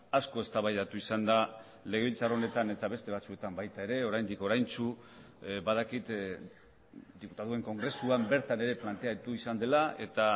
asko eztabaidatu izan da legebiltzar honetan eta beste batzuetan baita ere oraindik oraintsu badakit diputatuen kongresuan bertan ere planteatu izan dela eta